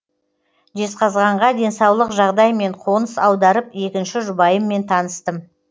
жезқазғанға денсаулық жағдаймен қоныс аударып екінші жұбайыммен таныстым